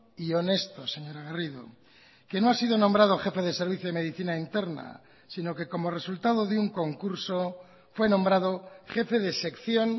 y honesto señora garrido que no ha sido nombrado jefe de servicio de medicina interna sino que como resultado de un concurso fue nombrado jefe de sección